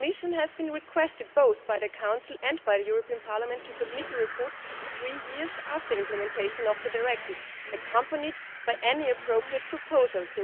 The Commission has been requested both by the Council and by the European Parliament to submit a report three years after implementation of the Directive, accompanied by any appropriate proposals.